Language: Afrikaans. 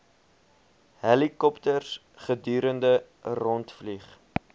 helikopters gedurig rondvlieg